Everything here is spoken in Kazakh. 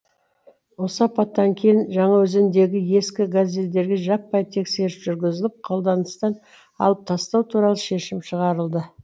осы апаттан кейін жаңаөзендегі ескі газельдерге жаппай тексеріс жүргізіліп қолданыстан алып тастау туралы шешім шығарылды